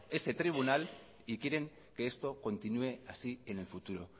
ese tribunal y quieren que esto continúe así en el futuro